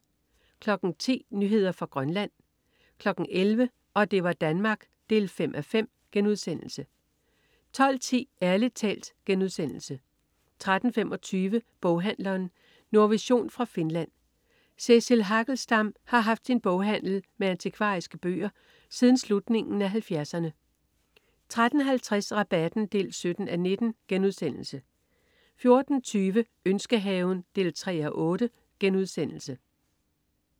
10.00 Nyheder fra Grønland 11.00 Og det var Danmark 5:5* 12.10 Ærlig talt* 13.25 Boghandleren. Nordvision fra Finland. Cecil Hagelstam har haft sin boghandel med antikvariske bøger siden slutningen af 70'erne 13.50 Rabatten 17:19* 14.20 Ønskehaven 3:8*